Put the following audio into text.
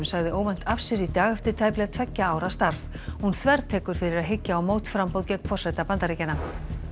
sagði óvænt af sér í dag eftir tæplega tveggja ára starf hún þvertekur fyrir að hyggja á mótframboð gegn forseta Bandaríkjanna